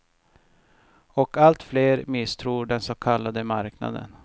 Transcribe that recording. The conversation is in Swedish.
Och allt fler misstror den så kallade marknaden.